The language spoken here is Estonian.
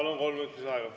Palun, kolm minutit lisaaega!